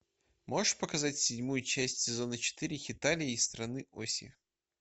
можешь показать седьмую часть сезона четыре хеталия и страны оси